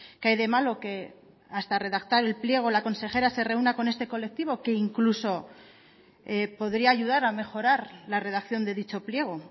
qué hay de malo que hasta redactar el pliego la consejera se reúna con este colectivo que incluso podría ayudar a mejorar la redacción de dicho pliego